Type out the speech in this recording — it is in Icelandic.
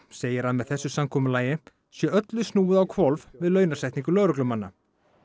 segir að með þessu samkomulagi sé öllu snúið á hvolf við launasetningu lögreglumanna